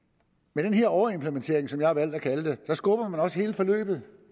med den her overimplementering som jeg har valgt at kalde det skubber man også hele forløbet